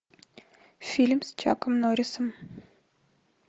фильм с чаком норисом